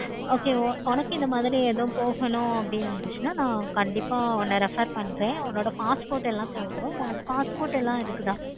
okay உனக்கு இந்த மாதிரி எது போகணும் அப்படி இருந்துச்சுன்னா கண்டிப்பா refer பண்றேன். passport லாம் தேவைப்படும். passport லாம் இருக்குதா?